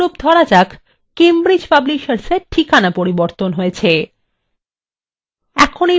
উদাহরণস্বরূপ ধরা যাক কেমব্রিজ publishersfor ঠিকানা পরিবর্তন হয়েছে